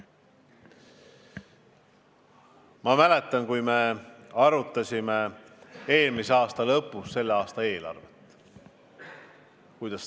Ma mäletan, kui me arutasime eelmise aasta lõpus tänavust eelarvet.